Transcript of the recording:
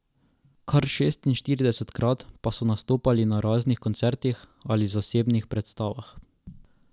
Kar šestinštiridesetkrat pa so nastopali na raznih koncertih ali zasebnih predstavah.